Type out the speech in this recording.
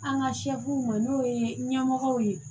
An ka ma n'o ye ɲɛmɔgɔ ye